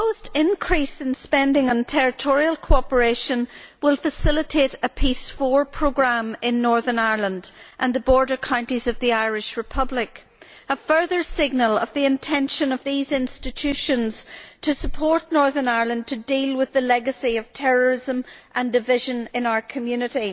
The proposed increase in spending on territorial cooperation will facilitate a Peace IV Programme in Northern Ireland and the border counties of the Republic of Ireland, a further signal of the intention of these institutions to support Northern Ireland to deal with the legacy of terrorism and division in our community.